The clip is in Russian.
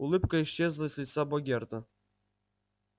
улыбка исчезла с лица богерта